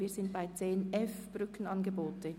Wir kommen zum Themenblock 10.f Brückenangebote.